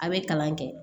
A bɛ kalan kɛ